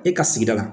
E ka sigida la